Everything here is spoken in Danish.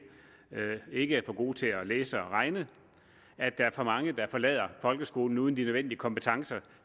ikke er for gode til at læse og regne at der er for mange der forlader folkeskolen uden de nødvendige kompetencer